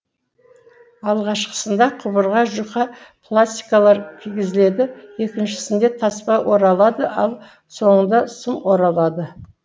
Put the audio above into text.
алғашқысында құбырға жұқа пластилар кигізіледі екіншісінде таспа оралады ал соңында сым оралады